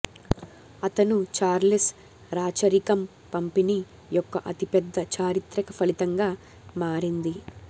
అతను చార్లెస్ రాచరికం పంపిణీ యొక్క అతిపెద్ద చారిత్రక ఫలితంగా మారింది